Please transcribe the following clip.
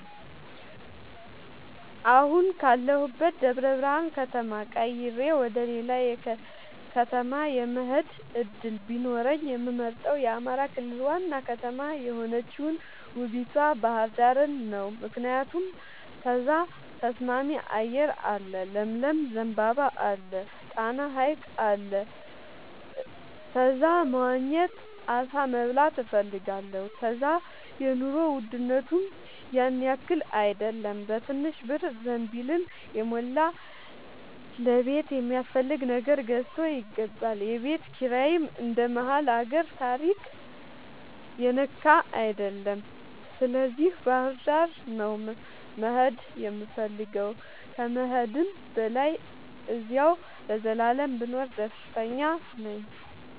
አሁን ካለሁበት ደብረብርሃን ከተማ ቀይሬ ወደሌላ ከተማ የመሆድ እድል ቢኖረኝ የምመርጠው የአማራ ክልል ዋና ከተማ የሆነችውን ውቡቷ ባህርዳርን ነው። ምክንያቱም እዛ ተስማሚ አየር አለ ለምለም ዘንባባ አለ። ጣና ሀይቅ አለ እዛ መዋኘት አሳ መብላት እፈልጋለሁ። እዛ የኑሮ ውድነቱም ያንያክል አይደለም በትንሽ ብር ዘንቢልን የሞላ ለቤት የሚያስፈልግ ነገር ገዝቶ ይገባል። የቤት ኪራይም እንደ መሀል አገር ታሪያ የነካ አይደለም ስለዚህ ባህርዳር ነው መሄድ የምፈልገው ከመሄድም በላይ አዚያው ለዘላለም ብኖር ደስተኛ ነኝ።